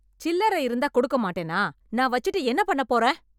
சில்லறை இருந்தா கொடுக்க மாட்டேனா? நான் வச்சுட்டு என்ன பண்ண போறேன்?